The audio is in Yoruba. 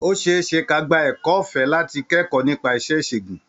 Ó ṣe é ṣe ka gba ẹ̀kọ́ ọ̀fẹ́ láti kẹ́kọ̀ọ́ nípa iṣẹ́ ìṣègùn.